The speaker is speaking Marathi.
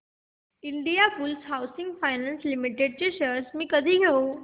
Indiabulls housing finance limited shares मी कधी घेऊ